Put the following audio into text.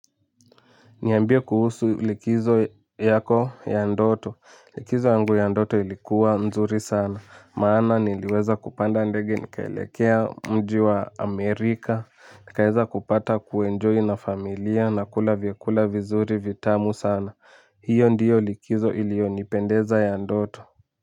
Niambie kuhusu likizo yako ya ndoto, likizo yangu ya ndoto ilikuwa mzuri sana, maana niliweza kupanda ndege nikaelekea mji wa Amerika, nikaweza kupata kuenjoy na familia na kula vyakula vizuri vitamu sana, hiyo ndiyo likizo iliyonipendeza ya ndoto.